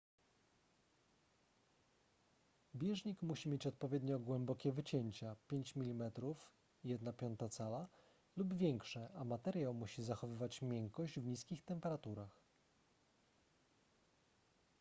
bieżnik musi mieć odpowiednio głębokie wycięcia 5 mm 1/5 cala lub większe a materiał musi zachowywać miękkość w niskich temperaturach